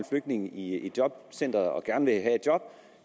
i i jobcenteret og gerne vil have et job